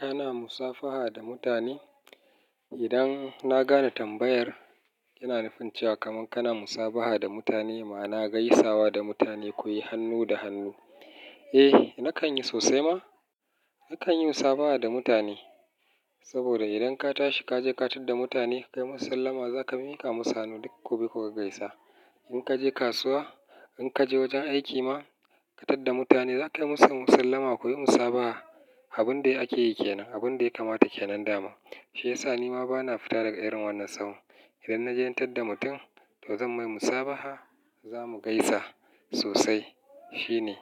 Kana musafaha da mutane? Idan na gane tambayar, yana nufin cewa kaman kana musabaha da mutane maana gaisawa da mutane, kuyi hannu da hannu. Eh, nakan yi sosai ma. Nakan yi musabaha da mutane. Saboda idan ka tashi ka je ka tarar da mutane, ka yi musu sallama, za ka miƙa musanu duk ku bi ku gaisa. In ka je kasuwa, in ka je wajen aiki ma, ka tar da mutane, za ka yi musu sallama, kuyi musabaha. Abin da ake yi kenan, abin da ya kamata kenan daman. Shi yasa ni ma bana fita daga irin wannan sahon. Idan na gaisar da mutum, to zan mai musabaha, za mu gaisa sosai. Shi ne,